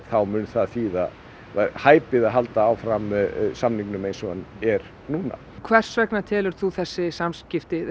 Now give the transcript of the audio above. þá mun það þýða hæpið að halda áfram samningnum eins og hann er núna hvers vegna telur þú þessi afskipti